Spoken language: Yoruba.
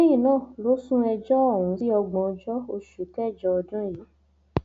lẹyìn náà ló sún ẹjọ ọhún sí ògbóǹjọ oṣù kẹjọ ọdún yìí